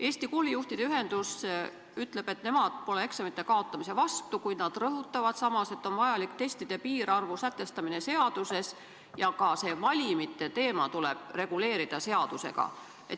Eesti Koolijuhtide Ühendus ütleb, et nemad pole eksamite kaotamise vastu, kuid nad rõhutavad samas, et seaduses on vaja sätestada testide piirarv ja et ka valimite teema tuleb seadusega reguleerida.